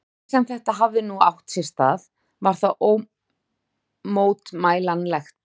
Hvernig sem þetta hafði nú átt sér stað, var það ómótmælanlegt.